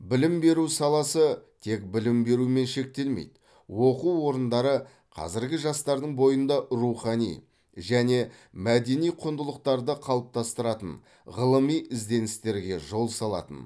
білім беру саласы тек білім берумен шектелмейді оқу орындары қазіргі жастардың бойында рухани және мәдени құндылықтарды қалыптастыратын ғылыми ізденістерге жол салатын